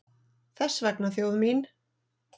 Þess vegna þjóð mín!